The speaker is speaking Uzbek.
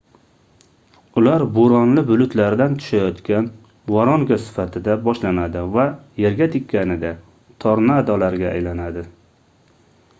ular bo'ronli bulutlardan tushayotgan voronka sifatida boshlanadi va yerga tekkanida tornadolar"ga aylanadi